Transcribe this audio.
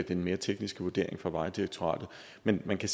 den mere tekniske vurdering fra vejdirektoratet men men